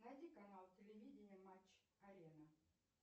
найди канал телевидения матч арена